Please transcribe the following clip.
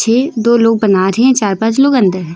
ये दो लोग बना रहे हैं चार पांच लोग अंदर हैं।